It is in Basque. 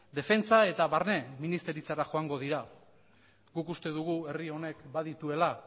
defentsa eta barne ministeritzara joango dira guk uste dugu herri honek badituela